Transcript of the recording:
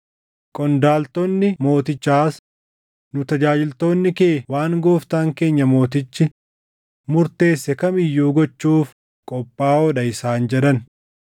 Qondaaltonni mootichaas, “Nu tajaajiltoonni kee waan gooftaan keenya mootichi murteesse kam iyyuu gochuuf qophaaʼoo dha” isaan jedhan.